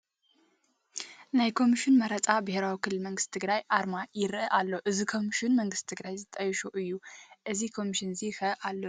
ናይ ኮሚሽን መረፃ ብሄራዊ ክልላዊ መንግስቲ ትግራይ ኣርማ ይርአ ኣሎ፡፡ እዚ ኮምሽን መንግስቲ ትግራይ ዘጣየሾ እዩ፡፡ እዚ ኮሚሽን ሕዚ ኸ ኣሎ ዶ?